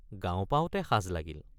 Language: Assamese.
গাঁও পাওঁতে সাজ লাগিল।